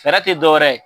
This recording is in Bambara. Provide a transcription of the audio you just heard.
Fɛɛrɛ tɛ dɔ wɛrɛ ye